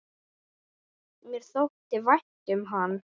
Mér þótti vænt um hann.